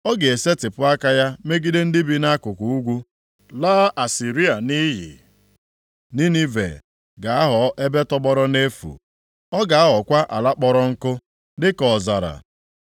Ọ ga-esetipụ aka ya megide ndị bi nʼakụkụ ugwu, laa Asịrịa nʼiyi. Ninive ga-aghọ ebe tọgbọrọ nʼefu, ọ ga-aghọkwa ala kpọrọ nkụ, dịka ọzara.